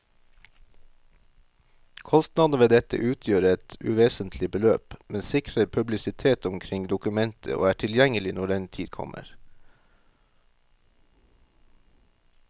Kostnadene ved dette utgjør et uvesentlig beløp, men sikrer publisitet omkring dokumentet og er tilgjengelig når den tid kommer.